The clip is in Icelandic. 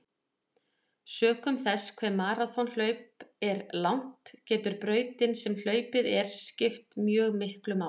Sökum þess hve maraþonhlaup er langt getur brautin sem hlaupin er skipt mjög miklu máli.